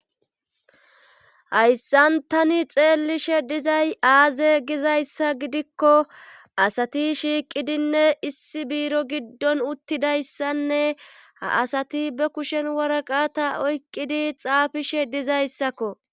hayssan tani xeellishe dizay aaze gizayssa gidikko asati shiiqidinne issi biiro giddon uttidayssanne ha asati be kushen waraqata oyqqidi xaafishe dizayssakko